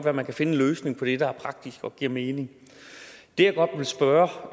at man kan finde en løsning på det der er praktisk og giver mening det jeg godt vil spørge